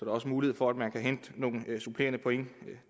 også mulighed for at man kan hente nogle supplerende point